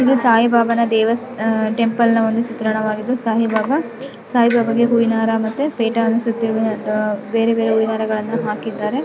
ಇದು ಸಾಯಿ ಬಾಬಾನ ದೇವಸ್ ಅಹ್ ಟೆಂಪಲ್ ನ ದೃಶ್ಯ ಚಿತ್ರನ ವಾಗಿದ್ದು ಸಾಯಿಬಾಬ ಸಾಯಿಬಾಬಾಗೆ ಹೂವಿನಹಾರ ಮತ್ತೆ ಪೀಠವನ್ನು ಸುತ್ತಿ ಮತ್ತೆ ಬೇರೆಬೇರೆ ಹೂವಿನ ಹಾರಗಳನ್ನ ಹಾಕಿದ್ದಾರೆ.